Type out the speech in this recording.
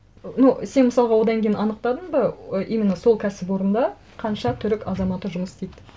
ну сен мысалға одан кейін анықтадың ба ы именно сол кәсіпорында қанша түрік азаматы жұмыс істейді